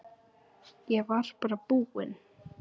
Ég var bara búinn.